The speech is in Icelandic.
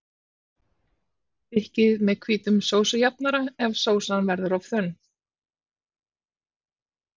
Þykkið með hvítum sósujafnara ef sósan verður of þunn.